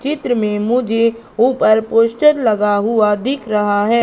चित्र में मुझे ऊपर पोस्टर लगा हुआ दिख रहा है।